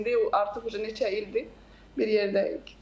İndi artıq neçə ildir bir yerdəyik.